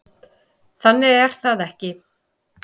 Þannig er það ekki.